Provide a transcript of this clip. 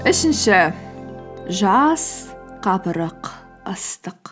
үшінші жаз қапырық ыстық